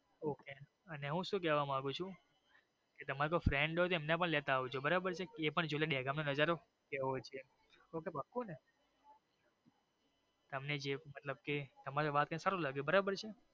okay અને હું શુ કેવા માંગુ છું કે તમારે કોઈ friend હોઈ તો એને પણ સાથે લેતા આવજો બરોબર છે તો એ પણ બે ગામ ની મજા લયે okay પાક્કું ને એટલે જે મતલબ કે તમારું વાક્ય સારું લાગ્યું.